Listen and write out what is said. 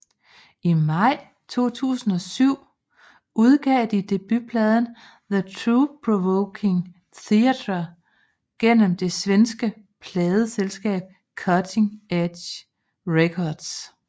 I maj 2007 udgav de debutpladen The Thoughtprovoking Theatre gennem det svenske pladeselskab Cutting Edge Records